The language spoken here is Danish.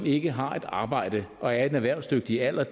ikke har et arbejde og er erhvervsdygtige alder